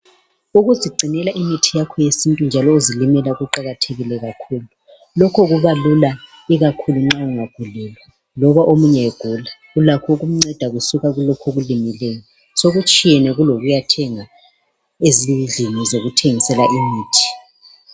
ukuzigcinela imithi yakho yesintu njalo uzilimela kuqakathekile kakhulu lokho kubalula ikakhulu nxa ungagulelwa loba omunye egula ulakho ukumnceda kusuka kulokho okulimeleyo sokutshiyene kulokuyathenga ezindlini zokuthengisela imithi